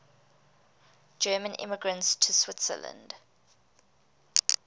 german immigrants to switzerland